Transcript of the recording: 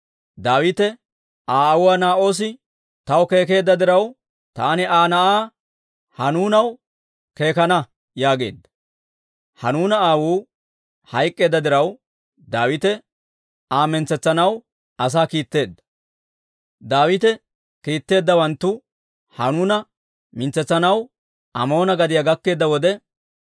Daawite, «Aa aawuu Naa'oosi taw keekeedda diraw, taani Aa na'aa Hanuunaw keekana» yaageedda. Hanuuna aawuu hayk'k'eedda diraw, Daawite Aa mintsetsanaw asaa kiitteedda. Daawite kiitteeddawanttuu Hanuuna mintsetsanaw Amoona gadiyaa gakkeedda wode,